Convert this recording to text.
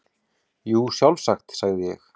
Jú, sjálfsagt, sagði ég.